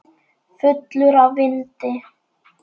Fullur af vindi.